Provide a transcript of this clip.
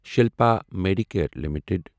Shilpa medicare limited